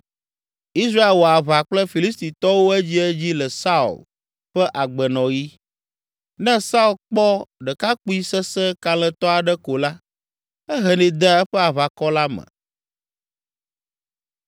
Israel wɔ aʋa kple Filistitɔwo edziedzi le Saul ƒe agbenɔɣi. Ne Saul kpɔ ɖekakpui sesẽ kalẽtɔ aɖe ko la, ehenɛ dea eƒe aʋakɔ la me.